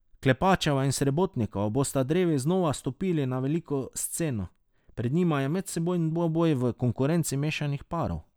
Klepačeva in Srebotnikova bosta drevi znova stopili na veliko sceno, pred njima je medsebojni dvoboj v konkurenci mešanih parov.